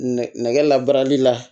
Nɛgɛ nɛgɛ labarali la